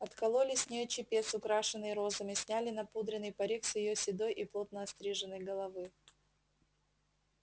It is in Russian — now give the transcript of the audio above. откололи с неё чепец украшенный розами сняли напудренный парик с её седой и плотно остриженной головы